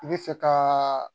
I bɛ fɛ ka